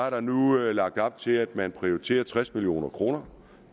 at der nu er lagt op til at man prioriterer tres million kroner